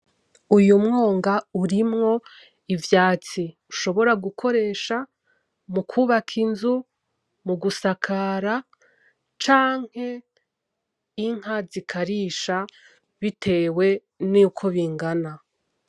Uyu mwonga urimwo ivyatsi dushobora gukoresha mu kwubaka inzu, mu gusakara canke inka zikarisha bitewe n'uko bingana.